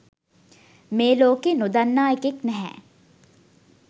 මේලෝකේ නොදන්නා එකෙක් නැහැ